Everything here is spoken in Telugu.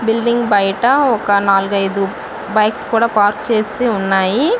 బిల్డింగ్ బయట ఒక నాలుగు ఐదు బైక్స్ కూడా పార్కింగ్ చేసి ఉన్నాయి.